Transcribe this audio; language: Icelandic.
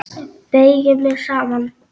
Beygi mig saman.